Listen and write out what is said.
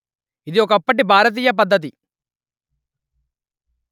ఇది ఒకప్పటి భారతీయ పద్ధతి